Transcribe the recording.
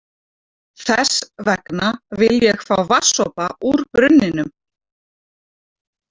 Þess vegna vil ég fá vatnssopa úr brunninum.